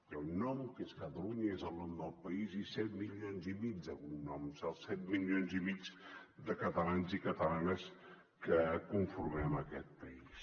hi ha un nom que és catalunya i és el nom del país i set milions i mig de cognoms els set milions i mig de catalans i catalanes que conformem aquest país